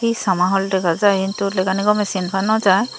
hee sama haul dega jai hintu legani gome sin pa naw jai.